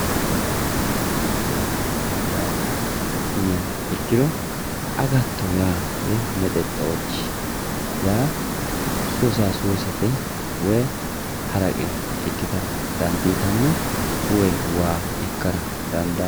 agatto yaa mayyate yiniha ikkiro agattto yaa mexexochi yaa suusasuusete haraqe ikkitara dandiitanno woy waa ikkara dandaanno